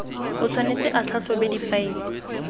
o tshwanetse a tlhatlhobe difaele